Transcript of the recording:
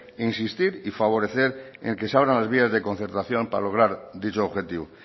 insistir y favorecer en que se abran las vías de concertación para lograr dicho objetivo